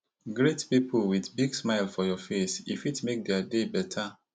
greet pipo with big smile for your face e fit make dia day beta